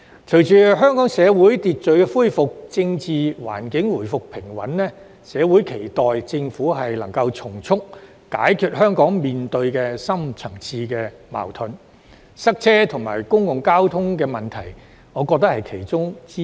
隨着香港社會恢復秩序，政治環境回復平穩，社會期待政府能從速解決香港面對的深層次矛盾，我認為塞車及公共交通問題是其中之一。